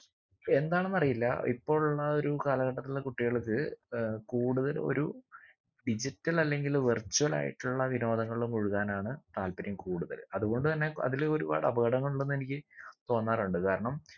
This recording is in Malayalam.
എന്താണെന്നറിയില്ല ഇപ്പൊ ഉള്ള ഒരു കാലഘട്ടത്തിലുള്ള കുട്ടികൾക്ക് ഏർ കൂടുതൽ ഒരു digital അല്ലെങ്കില് virtual ആയിട്ടുള്ള വിനോദങ്ങളില് മുഴുകാനാണ് താല്പര്യം കൂടുതല് അത് കൊണ്ട് തന്നെ അതിലൊരുപാട് അപകടങ്ങളുണ്ടെന്നെനിക്ക് തോന്നാറുണ്ട് കാരണം